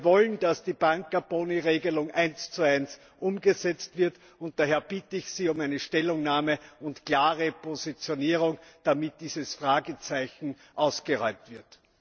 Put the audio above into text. Wir wollen, dass die Banker Boni Regelung eins zu eins umgesetzt wird, und daher bitte ich Sie um eine Stellungnahme und klare Positionierung, damit dieses Fragezeichen ausgeräumt wird.